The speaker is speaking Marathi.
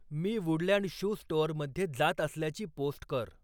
मी वुडलँड शू स्टोअरमध्ये जात असल्याची पोस्ट कर